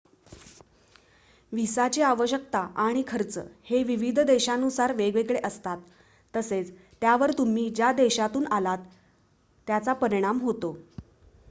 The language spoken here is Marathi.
व्हिसाची आवश्यकता आणि खर्च हे विविध देशानुसार वेगवेगळे असतात तसेच त्यावर तुम्ही ज्या देशातून आलात त्याचा परिणाम होतो